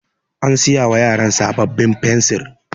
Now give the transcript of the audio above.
An siya wa yaran sabbabin fensir.